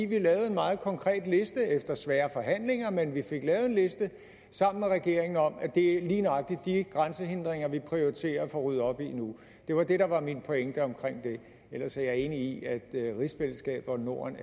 vi lavede en meget konkret liste efter svære forhandlinger men vi fik lavet en liste sammen med regeringen over lige nøjagtig de grænsehindringer vi prioriterer og får ryddet op i nu det var det der var min pointe omkring det ellers er jeg enig i at rigsfællesskabet og norden